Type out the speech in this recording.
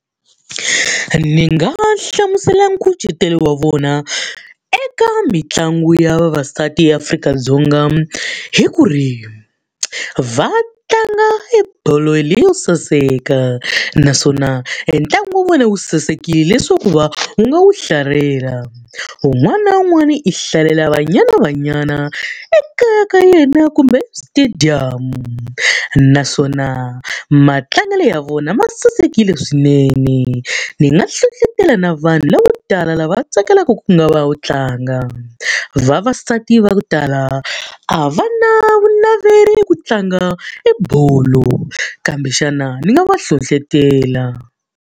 Ni nga hlamusela nkucetelo wa vona eka mitlangu ya vavasati eAfrika-Dzonga hi ku ri, va tlanga ebolo leyi yo saseka, naswona e ntlangu wa vona wu sasekile leswaku va u nga wu hlalela. Un'wana na un'wana i hlalela Banyana Banyana ekaya ka yena kumbe stadium. Naswona matlangelo ya vona ma sasekile swinene, ni nga hlohletela na vanhu lavo tala lava tsakelaka ku nga va wu tlanga. Vavasati va ku tala a va na vu naveli ku tlanga ebolo kambe xana ni nga va hlohletela.